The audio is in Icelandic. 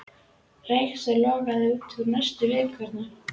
Reksturinn lognaðist út af næstu vikurnar.